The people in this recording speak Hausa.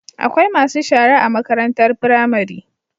Akwai masu shara a makarantar pramari